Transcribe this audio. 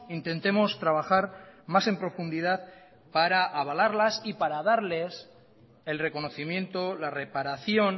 intentemos trabajar más en profundidad para avalarlas y para darles el reconocimiento la reparación